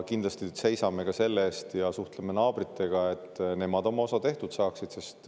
Kindlasti suhtleme naabritega ja seisame ka selle eest, et nemad oma osa tehtud saaksid.